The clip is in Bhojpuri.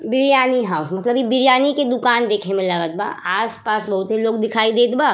बिरयानी हाउस मतलब इ बिरयानी के दुकान देखे में लगत बा। आस पास बहुते लोग दिखाई देत बा।